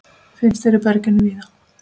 Finnst hér í berginu víða.